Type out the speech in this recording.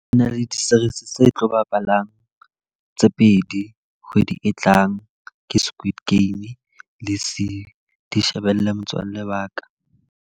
E na le di-series tse tlo bapalang tse pedi kgwedi e tlang. Ke Squid Game le di shebelle motswalle wa ka.